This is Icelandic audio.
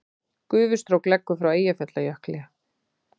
Gufustrók leggur frá Eyjafjallajökli